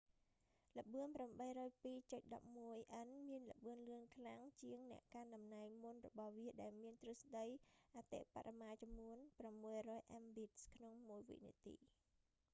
ល្បឿន 802.11n មានល្បឿនលឿនខ្លាំងជាងអ្នកកាន់តំណែង​មុនរបស់វាដែលមានទ្រឹស្តីអតិបរមាចំនួន 600mbit/s។